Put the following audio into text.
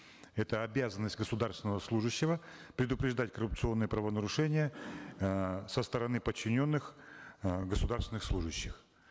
это обязанность государственного служащего предупреждать коррупционные правонарушения э со стороны подчиненных э государственных служащих